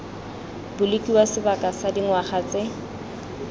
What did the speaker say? bolokiwa sebaka sa dingwaga tse